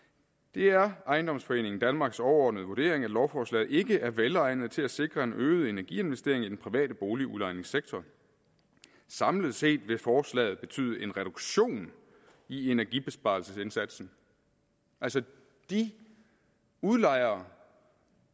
det er ejendomsforeningen danmarks overordnede vurdering at lovforslaget ikke er velegnet til at sikre en øget energiinvestering i den private boligudlejningssektor samlet set vil forslaget betyde en reduktion i energibesparelsesindsatsen altså de udlejere